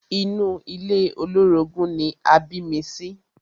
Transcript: Inú ilé olórogún ni a bí mi sí.